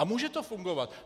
A může to fungovat.